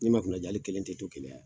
N'i ma kuna ja ali kelen te to keleya yan